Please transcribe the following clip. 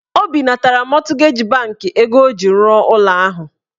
O binatara mọtgeji bankị ego ọ ji rụọ ụlọ ahụ.